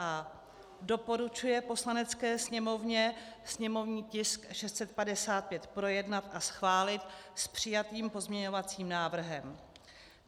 a) doporučuje Poslanecké sněmovně sněmovní tisk 655 projednat a schválit s přijatým pozměňovacím návrhem.